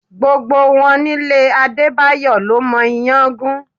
Gbogbo wọn nílé Adebayo ló mọ iyán gún.